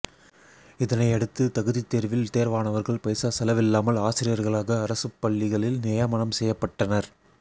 இதனையடுத்து தகுதித் தேர்வில் தேர்வானவர்கள் பைசா செலவில்லாமல் ஆசிரியர்களாக அரசுப் பள்ளிகளில் நியமனம் செய்யப்பட்டனர்